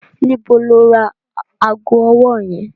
Níbo ló ra ago ọwọ́ yẹn?